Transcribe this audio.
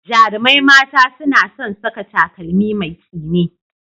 Jarumai mata suna son saka takalmi mai tsini.